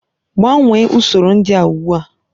Gbanwee usoro ndị a ugbu a!